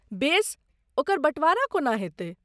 बेस, ओकर बँटवारा कोना हेतै?